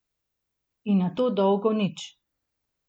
In nato dolgo nič.